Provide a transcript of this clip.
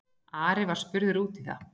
Ari var spurður út í það.